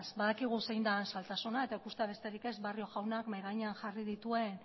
badakigu zein den zailtasuna eta ikustea besterik ez dago barrio jaunak mahai gainean jarri dituen